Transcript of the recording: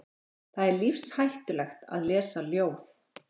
Það er lífshættulegt að lesa ljóð.